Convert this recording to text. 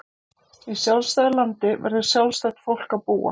Í sjálfstæðu landi verður sjálfstætt fólk að búa.